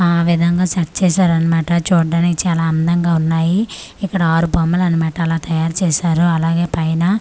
ఆ విధంగా సెట్ చేశారన్మాట చూడ్డానికి చాలా అందంగా ఉన్నాయి ఇక్కడ ఆరు బొమ్మలనమాట అలా తయారు చేసారు అలానే పైన--